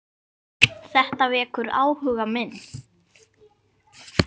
Þetta vekur áhuga minn.